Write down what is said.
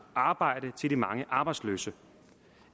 arbejde til de mange arbejdsløse